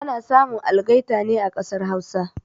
Ana samun algaita ne a kasar Hausa